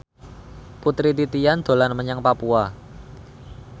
Putri Titian dolan menyang Papua